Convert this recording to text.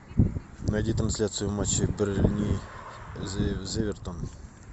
найди трансляцию матча бернли эвертон